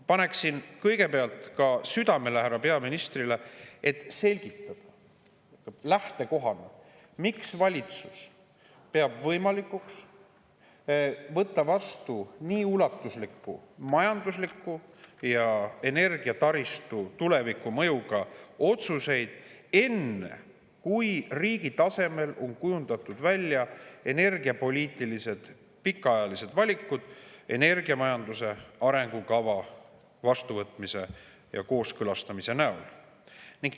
Panen kõigepealt ka südamele härra peaministrile: selgitage lähtekohana, miks valitsus peab võimalikuks võtta vastu nii ulatusliku majandusliku mõjuga ja energiataristu tulevikku otsuseid enne, kui riigi tasemel on kujundatud välja pikaajalised energiapoliitilised valikud energiamajanduse arengukava vastuvõtmise ja kooskõlastamise näol.